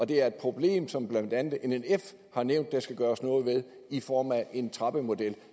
det er et problem som blandt andet nnf har nævnt der skal gøres noget ved i form af en trappemodel